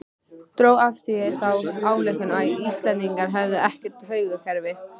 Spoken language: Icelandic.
Dró af því þá ályktun að Íslendingar hefðu ekkert taugakerfi.